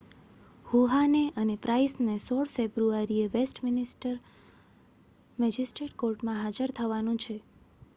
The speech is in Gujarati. હુહાને અને પ્રાઇસને 16 ફેબ્રુઆરીએ વેસ્ટમિન્સ્ટર મેજિસ્ટ્રેટ કોર્ટમાં હાજર થવાનું છે